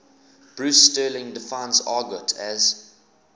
bruce sterling defines argot as